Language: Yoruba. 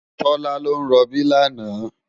Tola ló n ròbí làná